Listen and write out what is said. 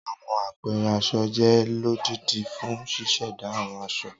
Awọn apẹẹrẹ aṣọ jẹ lodidi fun ṣiṣẹda awọn aṣọ